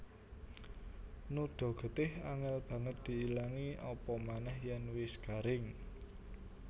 Noda getih angél banget diilangi apamanéh yèn wis garing